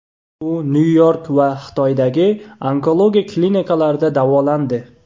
U Nyu-York va Xitoydagi onkologiya klinikalarida davolandi.